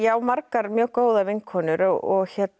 margar mjög góðar vinkonur og